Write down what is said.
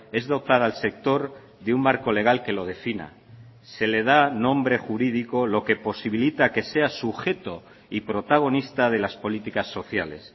es dotar al sector de un marco legal que lo defina se le da nombre jurídico lo que posibilita que sea sujeto y protagonista de las políticas sociales